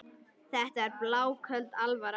Þetta er bláköld alvara.